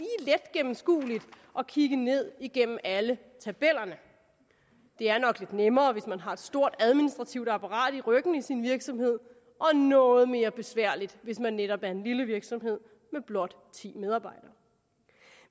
gennemskueligt at kigge ned igennem alle tabellerne det er nok lidt nemmere hvis man har et stort administrativt apparat i ryggen i sin virksomhed og noget mere besværligt hvis man netop er en lille virksomhed med blot ti medarbejdere